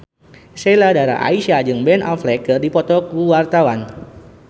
Sheila Dara Aisha jeung Ben Affleck keur dipoto ku wartawan